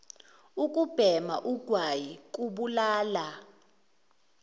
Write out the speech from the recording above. ukubhema ugwayi kubulala